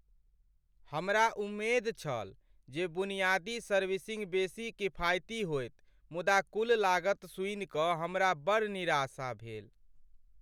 हमरा उम्मेद छल जे बुनियादी सर्विसिंग बेसी किफायती होएत मुदा कुल लागत सुनि कऽ हमरा बड़ निराशा भेल।